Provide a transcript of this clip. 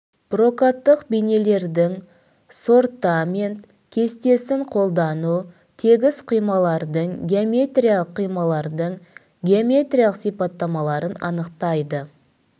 прокаттық бейіндердің сортамент кестесін қолдану тегіс қималардың геометриялық қималардың геометриялық сипаттамаларын анықтайды